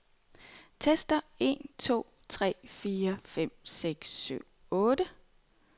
Tester en to tre fire fem seks syv otte.